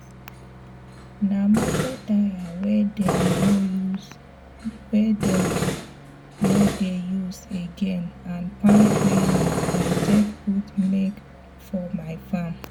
nah moto tyre wey dem no use wey dem no dey use again and palm tree leaf i take put mark for my farm